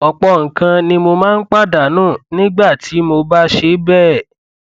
ọpọ nǹkan ni mo máa ń pàdánù nígbà tí mo bá ṣe bẹẹ